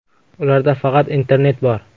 Ularda faqat internet bor.